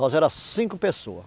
Nós éramos cinco pessoas.